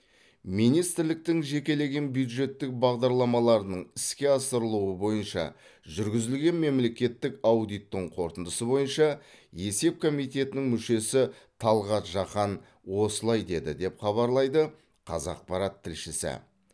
министрліктің жекелеген бюджеттік бағдарламаларының іске асырылуы бойынша жүргізілген мемлекеттік аудиттің қорытындысы бойынша есеп комитетінің мүшесі талғат жақан осылай деді деп хабарлайды қазақпарат тілшісі